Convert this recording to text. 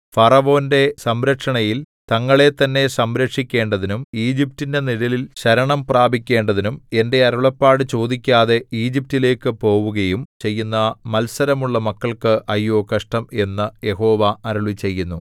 ഫറവോന്റെ സംരക്ഷണയിൽ തങ്ങളെത്തന്നെ സംരക്ഷിക്കേണ്ടതിനും ഈജിപ്റ്റിന്റെ നിഴലിൽ ശരണം പ്രാപിക്കേണ്ടതിനും എന്റെ അരുളപ്പാട് ചോദിക്കാതെ ഈജിപ്റ്റിലേക്കു പോവുകയും ചെയ്യുന്ന മത്സരമുള്ള മക്കൾക്ക് അയ്യോ കഷ്ടം എന്നു യഹോവ അരുളിച്ചെയ്യുന്നു